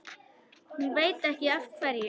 Hún veit ekki af hverju.